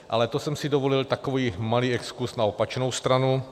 Ale to jsem si dovolil takový malý exkurz na opačnou stranu.